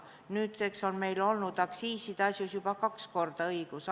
Nüüdseks on meil olnud aktsiiside asjus juba kaks korda õigus.